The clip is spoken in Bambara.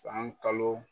San kalo